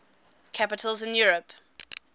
capitals in europe